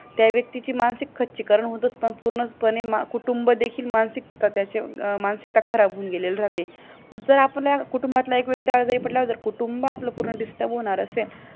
त्या व्यक्तीची मानसिक खच्चीकरण होत असताना पूर्णपणे कुटुंब देखील मानसिकता मानसिकता खराब होऊन गेलेली राहते मग जर आपल्या कुटुंबातील एक व्यक्ती आजारी पडल्यावर आपला पूर्ण कुटुंब disturb होणार असेल